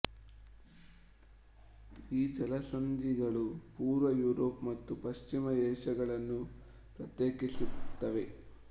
ಈ ಜಲಸಂಧಿಗಳು ಪೂರ್ವ ಯೂರೋಪ್ ಮತ್ತು ಪಶ್ಚಿಮ ಏಷ್ಯಿಯಾಗಳನ್ನು ಪ್ರತ್ಯೇಕಿಸುತ್ತವೆ